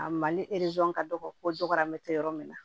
A ma ni erezo ka dɔgɔ ko dɔgɔmɛ te yɔrɔ min na